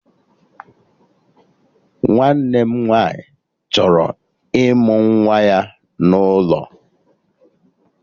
Nwanne m nwaanyị chọrọ ịmụ nwa ya n'ụlọ